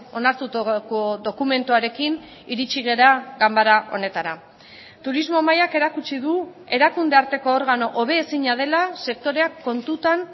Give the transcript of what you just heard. onartutako dokumentuarekin iritsi gara ganbara honetara turismo mailak erakutsi du erakunde arteko organo hobezina dela sektoreak kontutan